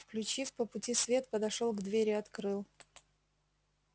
включив по пути свет подошёл к двери открыл